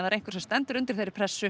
einhver sem stendur undir þeirri pressu